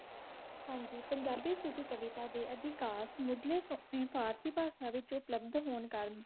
ਹਨ ਜੀ ਪੰਜਾਬੀ ਸੁਖੀ ਕਵੀਤਾ ਡੀ ਆਦਿ ਕਾਸ੍ਟ ਮੁਜ੍ਲੇਸ ਤੋ ਅਪਨੀ ਫ਼ਾਰਸੀ ਫਾਰਸ ਵਿਚੋ club ਤੋ phone ਕਰਨ